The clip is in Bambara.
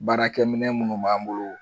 Baarakɛminɛ munnu b'an bolo